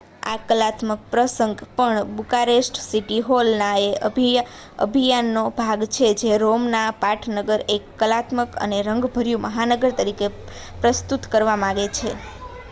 આ કલાત્મક પ્રસંગ પણ બુકારેસ્ટ સીટી હોલ ના એ અભિયાન નો ભાગ છે જે રોમના પાટનગરને એક કલાત્મક અને રંગભર્યુ મહાનગર તરીકે પ્રસ્તુત કરવા માંગે છે